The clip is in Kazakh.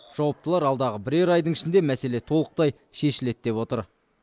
жауаптылар алдағы бірер айдың ішінде мәселе толықтай шешіледі деп отыр